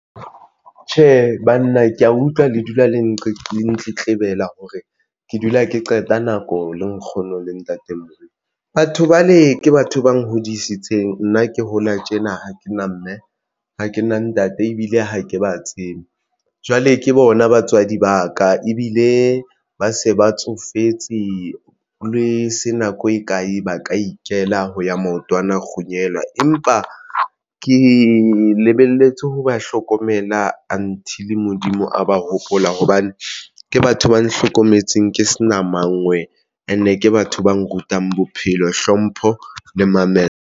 Tjhe, banna ke ya utlwa le dula le ntletleba hore ke dula ke qeta nako le nkgono le ntatemoholo. Batho bale ke batho ba nhodisitseng nna ke hola tjena ha ke na mme ha ke na ntate ebile ha ke ba tsebe jwale ke bona batswadi ba ka ebile ba se ba tsofetse le se nako e kae ba ka ikela ho ya maotwana kgunyela. Empa ke lebelletse ho ba hlokomela until Modimo a ba hopola hobane ke batho ba nhlokometseng ke sena mangwe and-e ke batho ba nrutang bophelo, hlompho le mamello.